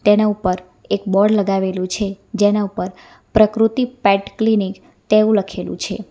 તેના ઉપર એક બોર્ડ લગાવેલું છે જેના ઉપર પ્રકૃતિ પેટ ક્લિનિક તેવું લખેલું છે.